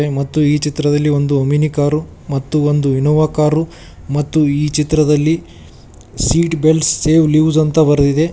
ಮತ್ತು ಈ ಚಿತ್ರದಲ್ಲಿ ಒಂದು ಒಮಿನಿ ಕಾರು ಮತ್ತು ಒಂದು ಇನೋವಾ ಕಾರು ಮತ್ತು ಈ ಚಿತ್ರದಲ್ಲಿ ಸೀಟ್ ಬೆಲ್ಟ್ ಸೇವ್ ಲೈವ್ಸ್ ಅಂತ ಬರೆದಿದೆ ಮತ್--